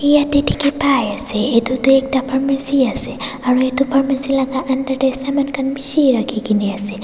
yadae diki pai asae etu Tu ekta pharmacy asae aro etu pharmacy la aunder dae saman khan bishi rakikina asae.